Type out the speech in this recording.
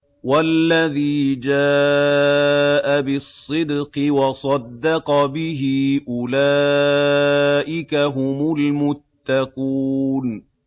وَالَّذِي جَاءَ بِالصِّدْقِ وَصَدَّقَ بِهِ ۙ أُولَٰئِكَ هُمُ الْمُتَّقُونَ